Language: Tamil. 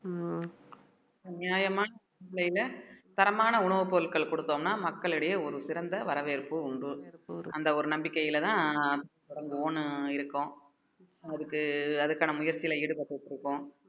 உம் நியாயமா விலையில தரமான உணவுப் பொருட்கள் கொடுத்தோம்ன்னா மக்களிடையே ஒரு சிறந்த வரவேற்பு உண்டு அந்த ஒரு நம்பிக்கையிலதான் நான் இந்த own இருக்கோம் அதுக்கு அதுக்கான முயற்சியில ஈடுபட்டுட்டு இருக்கோம்